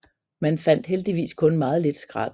Man fandt heldigvis kun meget lidt skrald